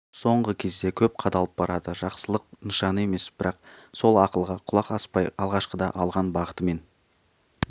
соңғы кезде көп қадалып барады жақсылық нышаны емес бірақ сол ақылға құлақ аспай алғашқыда алған бағытымен